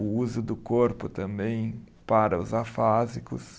O uso do corpo também para os afásicos.